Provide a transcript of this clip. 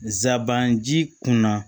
Zaban ji kunna